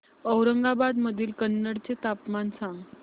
औरंगाबाद मधील कन्नड चे तापमान सांग